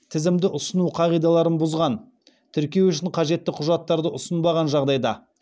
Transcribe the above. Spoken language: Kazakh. тізімді ұсыну қағидаларын бұзған тіркеу үшін қажетті құжаттарды ұсынбаған жағдайда